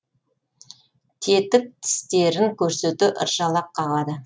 кетік тістерін көрсете ыржалақ қағады